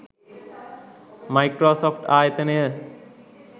Microsoft ආයතනය